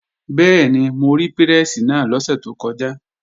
Bẹ́ẹ̀ni, mo rí pírẹ́sì náà lọ́sẹ̀ tó kọjá